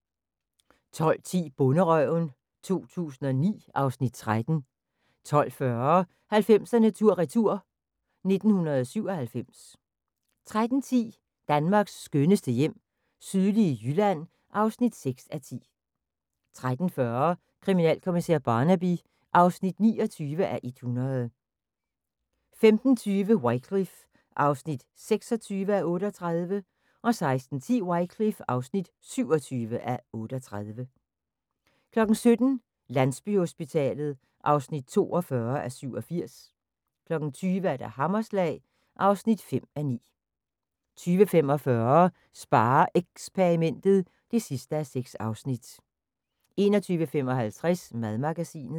12:10: Bonderøven 2009 (Afs. 13) 12:40: 90'erne tur/retur: 1997 13:10: Danmarks skønneste hjem - sydlige Jylland (6:10) 13:40: Kriminalkommissær Barnaby (29:100) 15:20: Wycliffe (26:38) 16:10: Wycliffe (27:38) 17:00: Landsbyhospitalet (42:87) 20:00: Hammerslag (5:9) 20:45: SpareXperimentet (6:6) 21:55: Madmagasinet